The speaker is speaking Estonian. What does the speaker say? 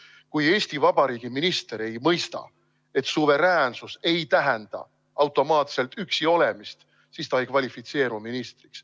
Kui Eesti Vabariigi minister ei mõista, et suveräänsus ei tähenda automaatselt üksiolemist, siis ta ei kvalifitseeru ministriks.